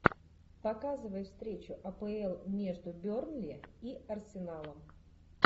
показывай встречу апл между бернли и арсеналом